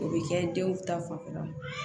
O bɛ kɛ denw ta fanfɛla